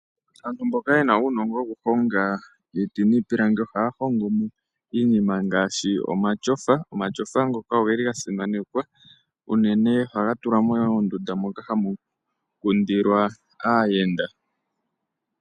Aantu mboka yena uunongo wokuhonga iiti niitaafula ohaya hongomo iinima ngaashi omatyofa. Omatyofa ngoka oge li gasimanekwa . Unene ohaga tulwa moondunda moka hamu kundilwa aayenda .